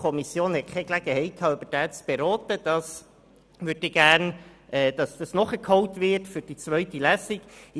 Die Kommission hatte keine Gelegenheit, darüber zu beraten, und ich möchte, dass dies für die zweite Lesung nachgeholt wird.